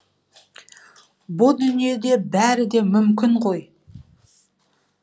бұ дүниеде бәрі де мүмкін ғой